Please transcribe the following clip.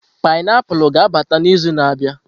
painiapulu ga-abata n'izu na-abịa.